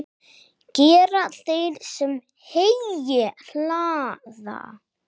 Gera þeir, sem heyi hlaða.